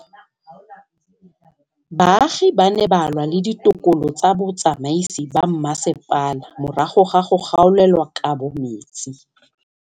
Baagi ba ne ba lwa le ditokolo tsa botsamaisi ba mmasepala morago ga go gaolelwa kabo metsi